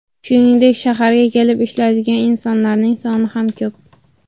Shuningdek, shaharga kelib ishlaydigan insonlarning soni ham ko‘p.